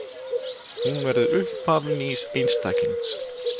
Hún verður upphaf nýs einstaklings.